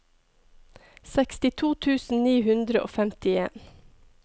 sekstito tusen ni hundre og femtien